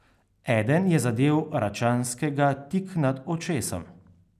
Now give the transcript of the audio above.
Eden je zadel Račanskega tik nad očesom.